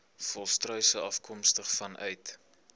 volstruise afkomstig vanuit